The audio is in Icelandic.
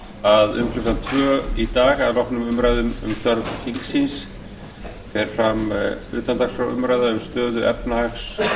að um klukkan tvö í dag að loknum umræðum um störf þingsins fer fram utandagskrárumræða um stöðu efnahags